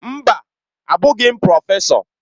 Mba! Abụghị m prọfesọ.